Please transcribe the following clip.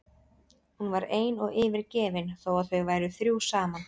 Hún var ein og yfirgefin þó að þau væru þrjú saman.